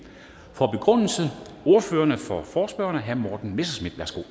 ordføreren for forespørgerne herre morten messerschmidt